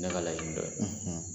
Ne yɛrɛ ka laɲin dɔ don